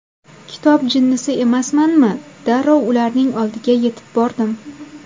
Kitob jinnisi emasmanmi, darrov ularning oldiga yetib bordim.